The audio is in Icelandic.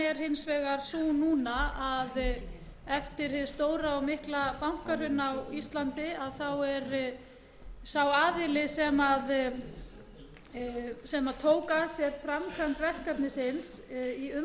er hins vegar sú núna að eftir hið stóra og mikla bankahrun á íslandi er sá aðili sem tók að sér framkvæmd verkefnisins í umboði